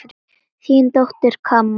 Þín dóttir, Kamma.